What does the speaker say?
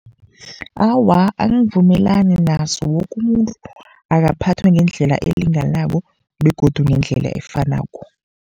Awa, angivumelani naso, woke umuntu akaphathwa ngendlela elinganako begodu ngendlela efanako.